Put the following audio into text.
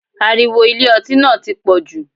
Ariwo Ilé ọtí náà ti pọ̀jù.